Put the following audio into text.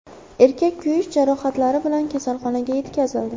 Erkak kuyish jarohatlari bilan kasalxonaga yetkazildi.